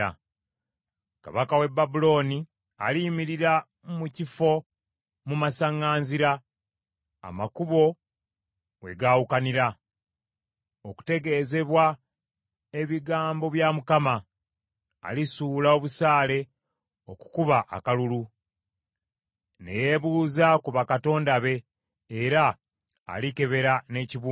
Kabaka w’e Babulooni aliyimirira mu kifo mu masaŋŋanzira, amakubo we gaawukanira, okutegeezebwa ebigambo bya Mukama ; alisuula obusaale okukuba akalulu, ne yeebuuza ku bakatonda be, era alikebera n’ekibumba.